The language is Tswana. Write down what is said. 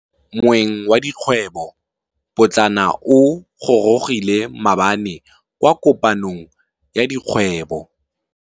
Moêng wa dikgwêbô pôtlana o gorogile maabane kwa kopanong ya dikgwêbô.